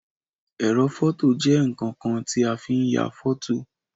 Ẹrọ fọto jẹ nkankan ti a fi n ya fọto.